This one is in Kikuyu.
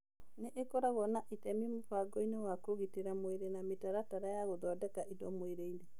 Nĩ ĩkorago na itemi mũbangoinĩ wa kũgitĩra mwĩrĩ na mĩtaratara ya gũthondeka indo mwĩrĩinĩ.